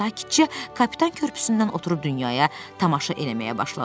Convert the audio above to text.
Sakitcə Kapitan Körpüsündən oturub dünyaya tamaşa eləməyə başladı.